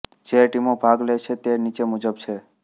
જે ટીમો ભાગ લે છે તે નીચે મુજબ છે